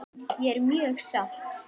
Ég er mjög sátt.